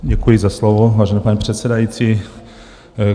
Děkuji za slovo, vážený pane předsedající.